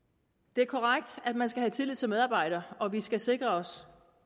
det er korrekt at man skal have tillid til medarbejderne og vi skal sikre os